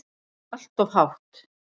Allt of hátt.